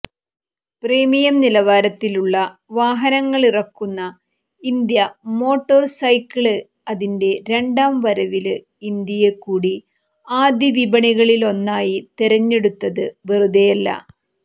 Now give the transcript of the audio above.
premium നിലവാരത്തിലുള്ള വാഹനങ്ങളിറക്കുന്ന India motorcycle അതിന്റെ രണ്ടാം വരവില് ഇന്ത്യയെക്കൂടി ആദ്യവിപണികളിലൊന്നായി തെരഞ്ഞെടുത്തത് വെറുതെയല്ല